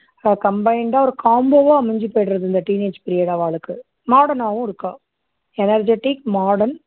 combined டா ஒரு combo வா அமஞ்சு போயிடுது இந்த teenage period அவாளுக்கு modern னாவும் இருக்கா energetic modern